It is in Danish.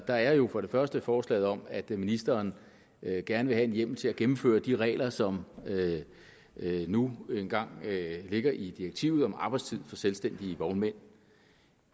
er jo for det første forslaget om at ministeren gerne vil have hjemmel til at gennemføre de regler som nu engang ligger i direktivet om arbejdstid for selvstændige vognmænd